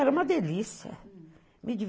Era uma delícia.